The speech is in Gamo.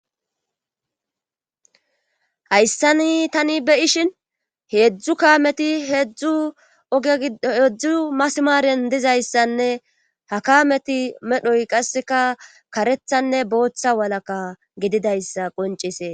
Hayssani tani beishin heedzdzu kaameti heedzdzu heedzdzu masimaaren dizayssanne ha kameti medhoy qasseka karethanne booththa walaka gididayssa qoncise.